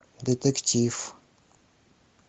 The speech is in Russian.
детектив